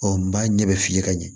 Ɔ n b'a ɲɛ bɛ f'i ye ka ɲɛ